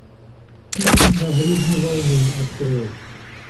фильм на гребне волны открой